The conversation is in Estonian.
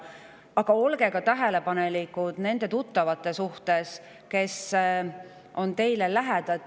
Aga olge ka tähelepanelikud nende tuttavate suhtes, kes on teile lähedal.